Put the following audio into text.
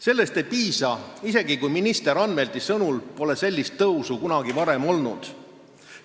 Sellest ei piisa, isegi kui minister Anvelti sõnul pole sellist tõusu kunagi varem olnud.